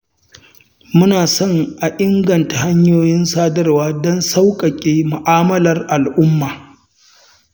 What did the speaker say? Muna so a inganta hanyoyin sadarwa don sauƙaƙe mu'amalar al'umma.